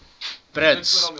brits